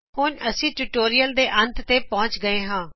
ਹੁਣ ਅਸੀ ਟਿਯੂਟੋਰਿਅਲ ਦੇ ਅੰਤ ਵਿਚ ਪਹੁੰਚ ਗਏ ਹਾ